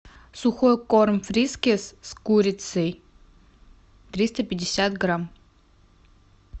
сухой корм фрискис с курицей триста пятьдесят грамм